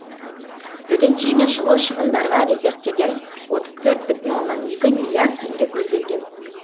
төтенше мен шұғыл шығындарға резервтерден отыз төрт бүтін оннан екі миллиард теңге көзделген